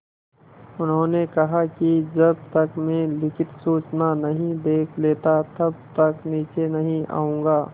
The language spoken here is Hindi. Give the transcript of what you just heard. उन्होंने कहा कि जब तक मैं लिखित सूचना नहीं देख लेता तब तक नीचे नहीं आऊँगा